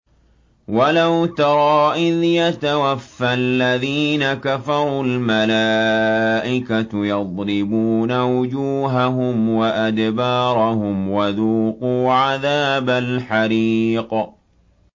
وَلَوْ تَرَىٰ إِذْ يَتَوَفَّى الَّذِينَ كَفَرُوا ۙ الْمَلَائِكَةُ يَضْرِبُونَ وُجُوهَهُمْ وَأَدْبَارَهُمْ وَذُوقُوا عَذَابَ الْحَرِيقِ